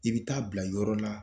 I bɛ taa bila yɔrɔ la